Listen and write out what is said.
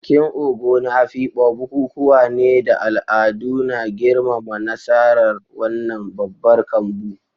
Bikin Ogo na Afikpo bukukuwa ne da al'adu na girmama nasarar wannan babbar kambu.